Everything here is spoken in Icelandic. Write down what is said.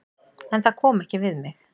En það kom ekki við mig.